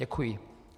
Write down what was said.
Děkuji.